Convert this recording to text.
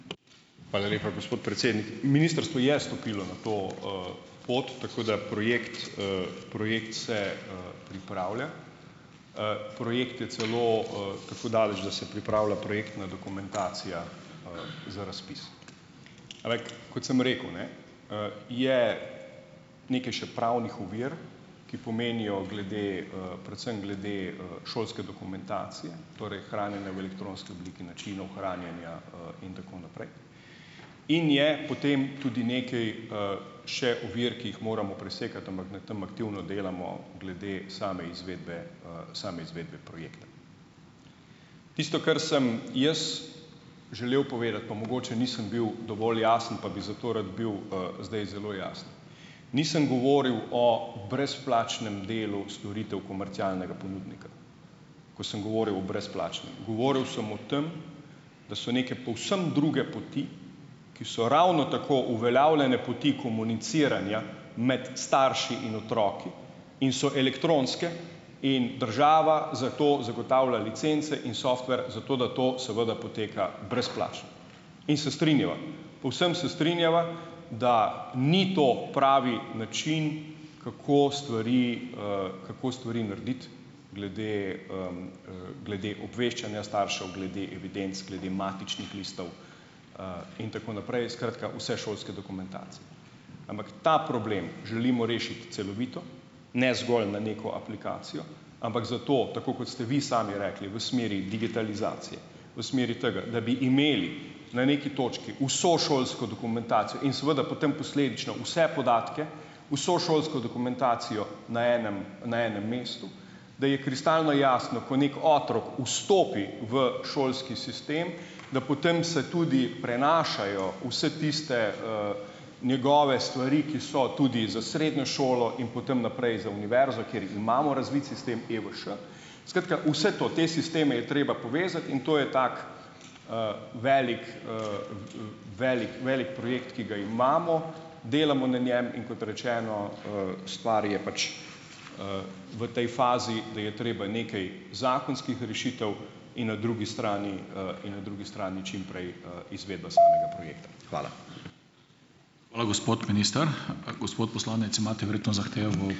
Hvala lepa, gospod predsednik. Ministrstvo je stopilo na to, pot, tako da projekt, projekt se, pripravlja. Projekt je celo, tako daleč, da se pripravlja projektna dokumentacija, za razpis. Ampak kot sem rekel, ne, je nekaj še pravnih ovir, ki pomenijo glede, predvsem glede, šolske dokumentacije, torej hranjenja v elektronski obliki, načinov hranjenja, in tako naprej in je potem tudi nekaj, še ovir, ki jih moramo presekati, ampak na tem aktivno delamo glede same izvedbe, same izvedbe projekta. Tisto, kar sem jaz želel povedati, pa mogoče nisem bil dovolj jasen, pa bi zato rad bil, zdaj zelo jasen. Nisem govoril o brezplačnem delu storitev komercialnega ponudnika, ko sem govoril o brezplačnih. Govoril sem o tem, da so neke povsem druge poti, ki so ravno tako uveljavljene poti komuniciranja med starši in otroki in so elektronske in država za to zagotavlja licence in software zato, da to seveda poteka brezplačno. In se strinjava, povsem se strinjava, da ni to pravi način, kako stvari, kako stvari narediti glede, glede obveščanja staršev, glede evidenc, glede matičnih listov, in tako naprej, skratka vse šolske dokumentacije. Ampak ta problem želimo rešiti celovito, ne zgolj na neko aplikacijo, ampak zato, tako kot ste vi sami rekli, v smeri digitalizacije, v smeri tega, da bi imeli na neki točki vso šolsko dokumentacijo in seveda potem posledično vse podatke, vso šolsko dokumentacijo na enem na enem mestu, da je kristalno jasno, ko neki otrok vstopi v šolski sistem, da potem se tudi prenašajo vse tiste, njegove stvari, ki so tudi za srednjo šolo, in potem naprej za univerzo, kjer imamo razvit sistem EVŠ, skratka, vse to, te sisteme je treba povezati in to je tako, velik, velik velik projekt, ki ga imamo, delamo na njem, in kot rečeno, stvar je pač, v tej fazi, da je treba nekaj zakonskih rešitev in na drugi strani, in na drugi strani čim prej, izvedba samega projekta. Hvala.